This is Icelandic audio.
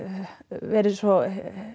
verið svo